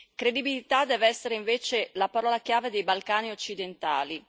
Credibilità deve essere invece la parola chiave dei Balcani occidentali.